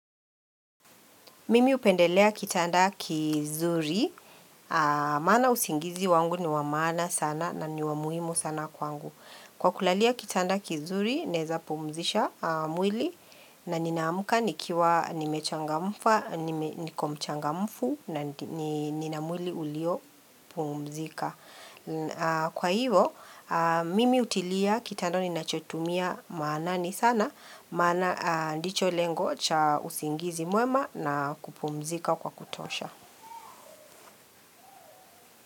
Mimi hupendelea kitanda kizuri, maana usingizi wangu ni wa maana sana na ni wa muhimu sana kwangu. Kwa kulalia kitanda kizuri, naeza pumzisha mwili na ninaamka nikiwa nimechangamka, niko mchangamumfu na nina mwili uliopumzika. Kwa hivo, mimi hutilia kitanda ninachotumia maanani sana Maana ndicho lengo cha usingizi mwema na kupumzika kwa kutosha.